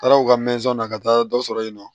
Taara u ka na ka taa dɔ sɔrɔ yen nɔ